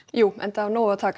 já enda af nægu að taka